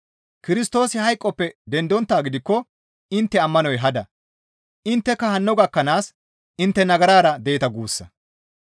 Kirstoosi hayqoppe dendonttaa gidikko intte ammanoy hada; intteka hanno gakkanaas intte intte nagarara deeta guussa.